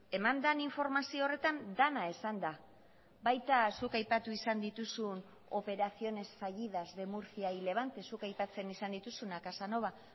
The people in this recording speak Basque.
eman den informazio horretan dena esan da baita zuk aipatu izan dituzun operaciones fallidas de murcia y levante zuk aipatzen izan dituzunak casanova